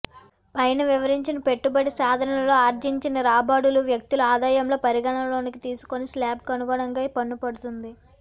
పైన వివరించిన పెట్టుబడి సాధనాలలో ఆర్జించిన రాబడులు వ్యక్తుల ఆదాయంలో పరిగణలోనికి తీసుకుని శ్లాబ్ కనుగుణంగా పన్ను పడుతుంది